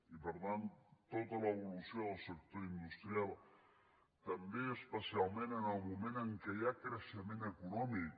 i per tant tota l’evolució del sector industrial també especialment en el moment en què hi ha creixement econòmic